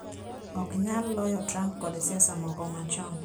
Ok nyal loyo Trump kod siasa moko machon.